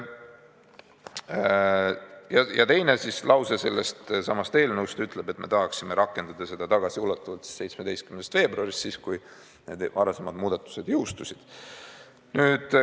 Teine lause selles eelnõus ütleb, et me tahaksime rakendada seda tagasiulatuvalt 17. veebruarist – päevast, kui need varasemad muudatused jõustusid.